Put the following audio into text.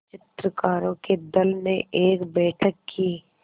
चित्रकारों के दल ने एक बैठक की